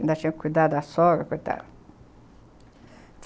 Ainda tinha que cuidar da sogra, coitada.